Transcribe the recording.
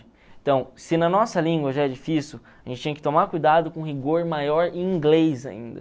Então, se na nossa língua já é difícil, a gente tinha que tomar cuidado com rigor maior em inglês ainda.